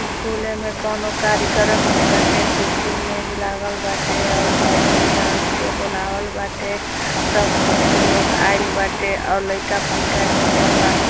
स्कूले में कोनो कार्यक्रम होता टे कुर्सी मेज लागल बाटे और घर के लोगके बुलावल बाटे सब घर के लोग आइल बाटे और लईका फईका येमे सब बान --